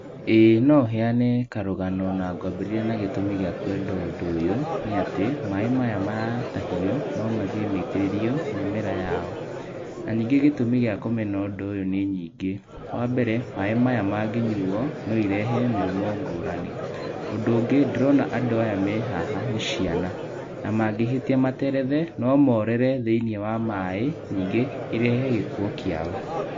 Ĩĩ no heyane karũgano na ngwambĩrĩria na gĩtũmi gĩa kwenda ũndũ ũyũ nĩ atĩ maaĩ maya matahio no mathiĩ maitĩrĩrio mĩmera yao. Na ningĩ gĩtũmi gĩa kũmena ũndũ ũyũ nĩ nyingĩ, wambere maaĩ maya mangĩnyuo no irehe mĩrimũ ngũrani. Ũndũ ũngĩ ndĩrona andũ aya me haha nĩ ciana na mangĩhĩtia materethe no morĩre thĩinĩ wa maaĩ ningĩ ĩrehe gĩkuo kĩao.